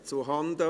Abstimmung (